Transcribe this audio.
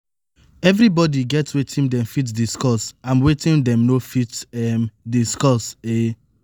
everybody get wetin dem fit discuss and wetin dem no fit um discuss um